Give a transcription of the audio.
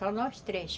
Só nós três.